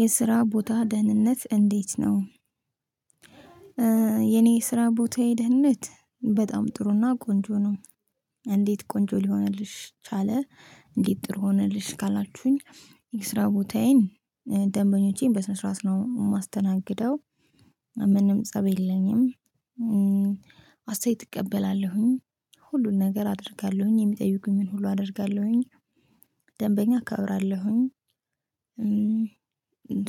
የስራ ቦታ ደህንነት እንዴት ነው? የኔ ስራ ቦታዬ ደህንነት በጣም ጥሩና ቆንጆ ነው። እንዴት ቆንጆ ሊሆንልሽ ቻለ እንዴት ጥሩ ሆነልሽ ካላችሁኝ? የስራ ቦታዬን ደንበኞቼን በስነ ስርዓት ነው የማስተናግደው። ምንም ፀብ የለኝም። አስተያየት እቀበላለሁኝ። ሁሉን ነገር አደርጋለሁኝ የሚጠይቁኝን ሁሉ አደርጋለሁኝ። ደንበኛ አከብራለሁኝ።